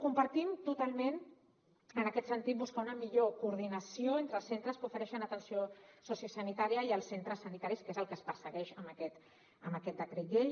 compartim totalment en aquest sentit buscar una millor coordinació entre els centres que ofereixen atenció sociosanitària i els centres sanitaris que és el que es persegueix amb aquest decret llei